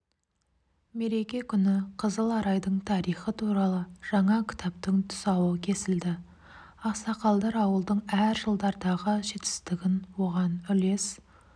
мереке күні қызыларайдың тарихы туралы жаңа кітаптың тұсауы кесілді ақсақалдар ауылдың әр жылдардағы жетістігін оған үлес